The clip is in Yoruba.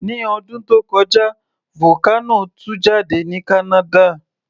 Ní ọdún tó kọjá, vocano tú jáde ní Canada